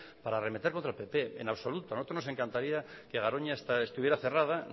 para arremeter contra el pp en absoluto nosotros nos encantaría que garoña estuviera cerrada